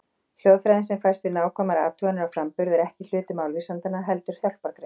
Hljóðfræðin sem fæst við nákvæmar athuganir á framburði er ekki hluti málvísindanna, heldur hjálpargrein.